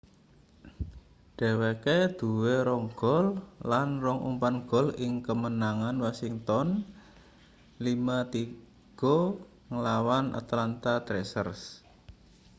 dheweke duwe 2 gol lan 2 umpan gol ing kamenangan washington 5-3 nglawan atlanta thrashers